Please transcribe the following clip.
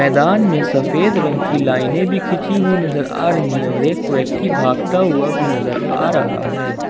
दान में सफेद रंग की लाइने भी खींची हुई नजर आ रही है और एक व्यक्ति भागता हुआ भी नजर आ रहा है।